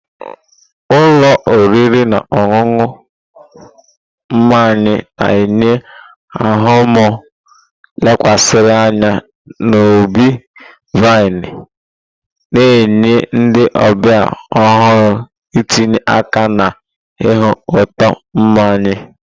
Ụlọ oriri na ọṅụṅụ mmanya na-enye ahụmahụ lekwasịrị anya n'ubi-vine, na-enye ndị ọbịa ohere itinye aka na-iñu ụtọ mmanya.